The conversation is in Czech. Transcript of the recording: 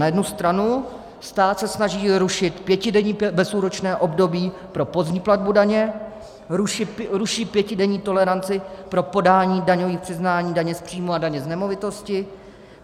Na jednu stranu stát se snaží rušit pětidenní bezúročné období pro pozdní platbu daně, ruší pětidenní toleranci pro podání daňových přiznání daně z příjmu a daně z nemovitosti.